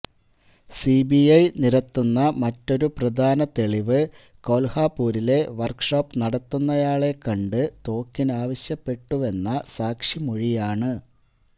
CBI നിരത്തുന്ന മറ്റൊരു പ്രധാന തെളിവ് കോല്ഹാപുരിലെ വര്ക്ക്ഷോപ് നടത്തുന്നയാളെ കണ്ട് തോക്കിനാവശ്യപ്പെട്ടുവെന്ന സാക്ഷിമൊഴിയാണ്